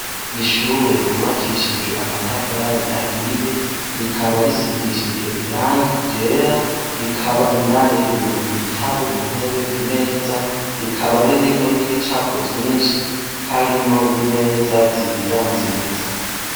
Ishure ryubakishijwe amatafari ahiye rikaba risigishijwe irangi ryera rikaba indani ririmwo ibitabu intebe imeza rikaba ririmwo n' ibicapo vyinshi harimwo n' imeza nziza nziza.